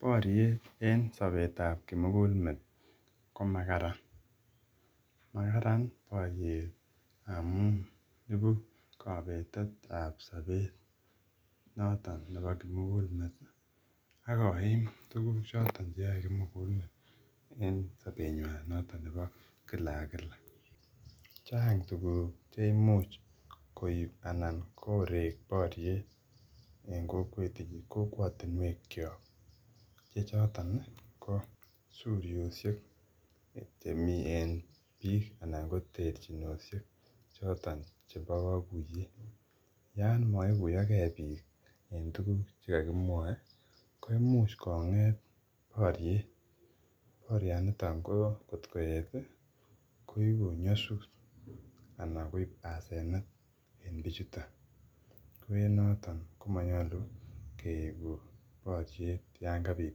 boriet en sopetab kimugul met komakaran makaran boriet amun ipu kobetetab sopet noton nepo kimugul met akoim tuguk choton cheyoe kimugul met en sopenywan noton nepo kila ak kila chang tuguk cheimuch koib anan kore boriet en kokwet en kokwotinwekyok che chotoni ko suryoshek chemi en biik anan ko terchinoshek choton chebo kakuyet yoon moikuyokee biik en tuguk chekokimwoe koimuch konget boriet borionitok ko ngotkoet ii koibu nyosut anan koip asenet en bichutok koenotok komonyolu keibu boriet yoon kabit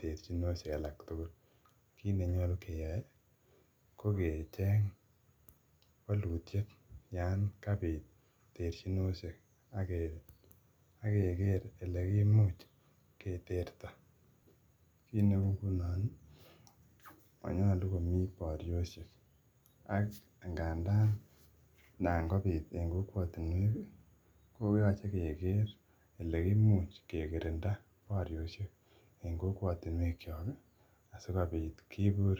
terchinoshek alak tugul kit nenyolu keyai kokecheng wolutiet yoon kabit terchinoshek akeker ele kimuch keterto kit neunoni monyolu komi borioshek ak ngandan nan kobit en kokwotinuekii koyoche keker ele kimuch kekirinda borioshek en kokwotinuekyoki asikopit kibur